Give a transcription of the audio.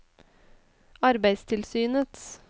arbeidstilsynets